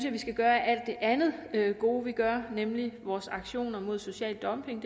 vil skal gøre alt det andet gode vi gør nemlig vores aktioner mod social dumping